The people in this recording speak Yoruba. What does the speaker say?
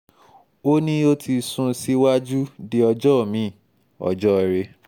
ó ní ó ti sún un síwájú di ọjọ́ mi-in ọjọ́ọre